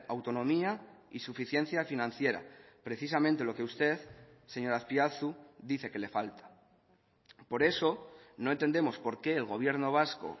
autonomía y suficiencia financiera precisamente lo que usted señor azpiazu dice que le falta por eso no entendemos por qué el gobierno vasco